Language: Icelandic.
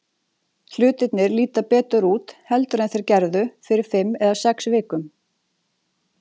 Hlutirnir líta betur út heldur en þeir gerðu fyrir fimm eða sex vikum.